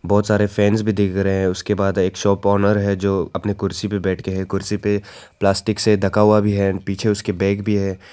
बहोत सारे फैंस भी दिख रहे है उसके बाद एक शॉप ओनर है जो अपनी कुर्सी पे बैठे है कुर्सी पे प्लास्टिक से ढका हुआ भी है एंड पीछे उसके बैग भी है।